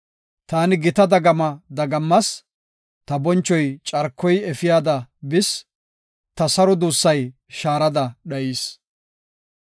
Taani gita dagama dagammas; ta bonchoy carkoy efiyada bis; ta saro duussay shaarada dhayis.